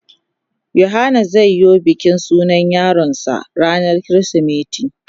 Yohana zai yo bikin sunan yaron sa ranan kirisimeti.